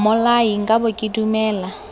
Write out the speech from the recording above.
mmolai nka be ke dumela